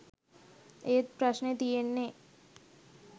ඒත් ප්‍රශ්නෙ තියෙන්නෙ